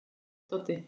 Kæri Doddi.